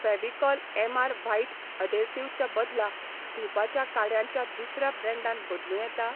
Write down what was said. Fevicol MR white adhesive चे बदला धूपाच्या काडयां च्या दुसऱ्या ब्रँडान बदलूं येता?